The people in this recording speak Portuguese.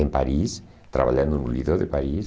Em Paris, trabalhando no Lido de Paris.